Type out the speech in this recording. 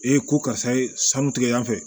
Ee ko karisa ye sanu tigɛ yan fɛ